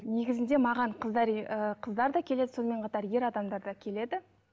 негізінде маған қыздар ы қыздар да келеді сонымен қатар ер адамдар да келеді